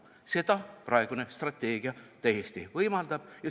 Seda praegune strateegia täiesti võimaldab.